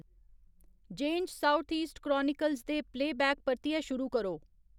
ज़ेन्ज़ southeast chronicles दे playback परतियै शुरू करो